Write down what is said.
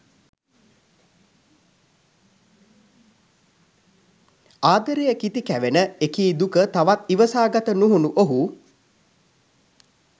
ආදරය කිති කැවෙන එකී දුක තවත් ඉවසාගත නුහුනු ඔහු